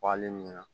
Wale mina